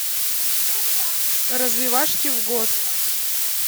развивашки в год